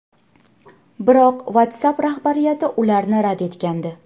Biroq WhatsApp rahbariyati ularni rad etgandi.